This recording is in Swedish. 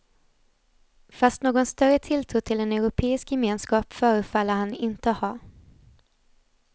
Fast någon större tilltro till en europeisk gemenskap förfaller han inte ha.